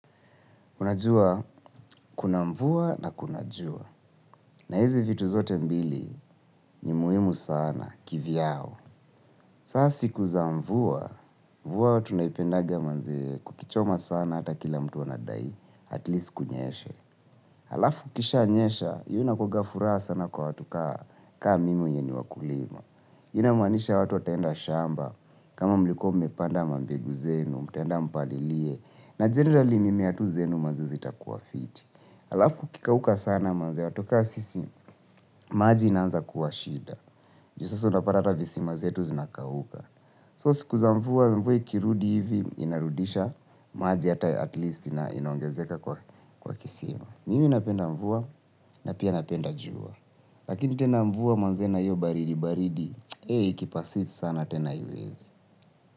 Unajua, kuna mvua na kuna jua. Na hizi vitu zote mbili ni muhimu sana, kivyao. Sa siku zamvua, mvua watu naipendaga manzee kukichoma sana ata kila mtu wanadai, at least kunyeshe. Alafu kishanyesha, iyo nakuaga furaha sana kwa watu kaa mimi wenye ni wakulima. Ina manisha watu atenda shamba, kama mlikombe panda mambergu zenu, mtenda mpalilie, na jendali mimi atu zenu mazizi takuwa fiti. Alafu kikauka sana manze watu ka sisi maji inanza kuwa shida. Ju sasa unaparata visi mazetu zinakauka. So sikuza mvua mvua kirudi hivi inarudisha maji hata at least inaongezeka kwa kisima. Mimi napenda mvua na pia napenda jua. Lakini tena mvua manze na hiyo baridi baridi Hei ikipasist sana tena iwezi.